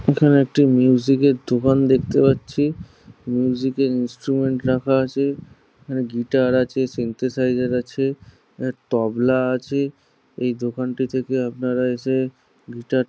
এখানে একটি মিউজিক এর দোকান দেখতে পাচ্ছি। মিউজিক এর ইনস্ট্রুমেন্ট রাখা আছেগিটার আছে সিন্থেসিসের আছে তব্লা আছে। এই দোকানটি থেকে আপনারা এসে গিটার --